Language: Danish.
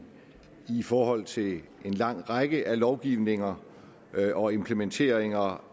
i forhold til en lang række af lovgivninger og implementeringer